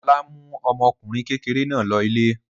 Ọlá mú ọmọkùnrin kékeré náà lọ ilé.